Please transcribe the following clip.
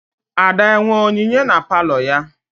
Ada enwe onyinye na Palọ ya?